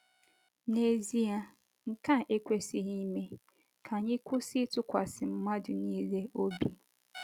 N’ezie, nke a ekwesịghị ime, ka anyị kwụsị ịtụkwasị mmadụ nile obi.